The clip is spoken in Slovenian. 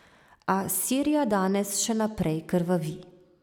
A Sirija danes še naprej krvavi.